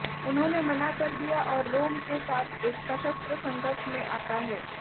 उन्होंने मना कर दिया और रोम के साथ एक सशस्त्र संघर्ष में आता है